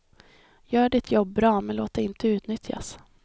Gör ditt jobb bra, men låt dig inte utnyttjas.